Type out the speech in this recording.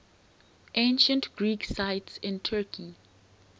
ancient greek sites in turkey